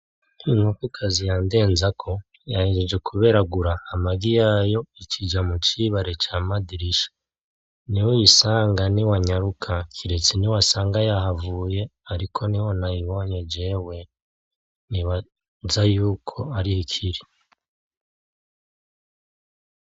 Inkoko kazi ya Ndenzako yahejeje kuberagura amagi yayo, ica ija mu cibare ca Madirisha. Niho uyisanga niwanyaruka kiretse niwasanga yahavuye, ariko niho nayibonye jewe, nibaza ko ariho ikiri.